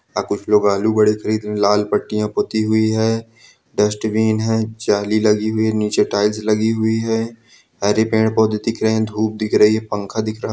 यहाँ कुछ लोग आलू बड़े खरीद रहे हैं लाल पट्टियाँ पुती हुई हैं डस्ट्बिन है जाली लगी हुई है नीचे टाइल्स लगी हुई हैं हरे पेड़ पौधे दिख रहे हैं धूप दिख रही है पंख दिख रहा है.